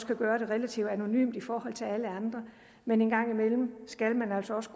kan gøre det relativt anonymt i forhold til alle andre men en gang imellem skal man altså